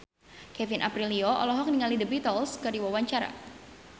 Kevin Aprilio olohok ningali The Beatles keur diwawancara